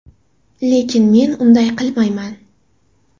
Lekin, men unday qilmayman.